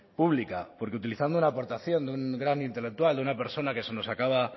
pública porque utilizando la aportación de un gran intelectual de una persona que se nos acaba